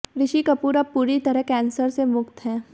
ऋषि कपूर अब पूरी तरह कैंसर से मुक्त हैं